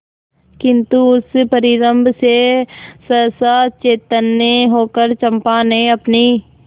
किंतु उस परिरंभ में सहसा चैतन्य होकर चंपा ने अपनी